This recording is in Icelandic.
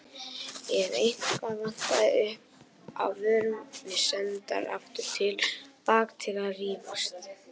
Ef eitthvað vantaði upp á vorum við sendar aftur til baka til að rífast.